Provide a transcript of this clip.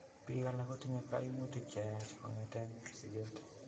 Biik alak kotinye kaimutik cheyaach kong'eten sikeet